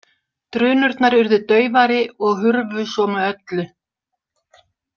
Drunurnar urðu daufari og hurfu svo með öllu.